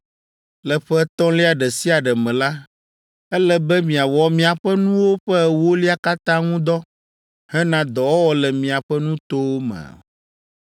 “Le ƒe etɔ̃lia ɖe sia ɖe me la, ele be miawɔ miaƒe nuwo ƒe ewolia katã ŋu dɔ hena dɔwɔwɔ le miaƒe nutowo me.